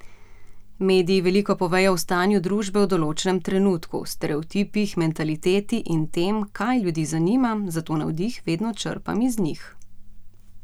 Mediji veliko povejo o stanju družbe v določenem trenutku, stereotipih, mentaliteti in tem, kaj ljudi zanima, zato navdih vedno črpam iz njih.